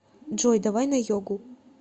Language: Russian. джой давай на йогу